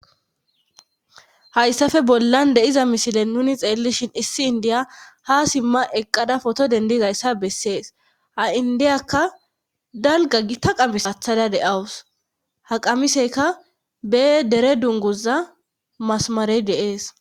Hayssafe bollan deiza mishile nuni xeellishin issi indiya ha simma eqqada foto dendizayssa bessees ha indiyakka dalga gi ta qamisathada de'awus haqamiseka bee dere dunguza masamarey deees